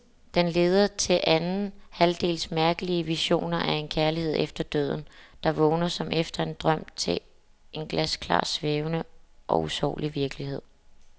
Den leder til anden halvdels mærkelige visioner af en kærlighed efter døden, der vågner som efter en drøm til en glasklar, svævende og usårlig virkelighed.